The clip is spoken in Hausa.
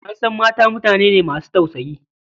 An san mata mutane ne masu tausayi.